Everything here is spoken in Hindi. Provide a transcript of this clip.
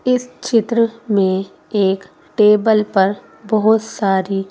इस चित्र में एक टेबल पर बहुत सारी --